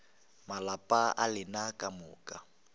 malapa a lena ka moka